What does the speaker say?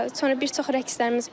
Sonra bir çox rəqslərimiz var.